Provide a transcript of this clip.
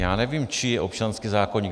Já nevím, čí je občanský zákoník.